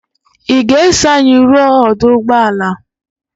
Ị ga-eso anyị ruo ọdụ ụgbọala?